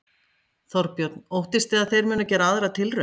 Þorbjörn: Óttist þið að þeir munu gera aðra tilraun?